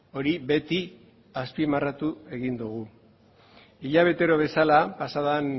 hori beti azpimarratu egin dugu hilabetero bezala pasa den